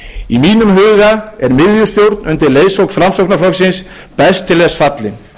í mínum huga er miðjustjórn undir leiðsögn framsóknarflokksins best til þess fallin það